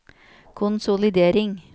konsolidering